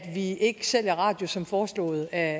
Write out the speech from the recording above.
vi ikke sælger radius som foreslået af